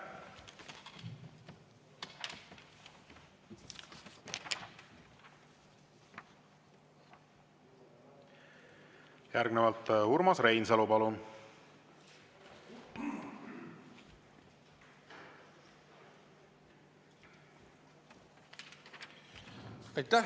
Järgnevalt Urmas Reinsalu, palun!